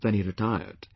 Then he retired